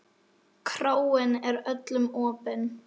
Kráin er öllum opin.